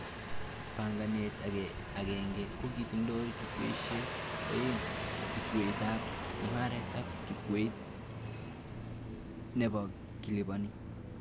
Banganet agenge kokotindoi chukwaishek aeng:chukwaitab mugaret ak chukwait nebakilibani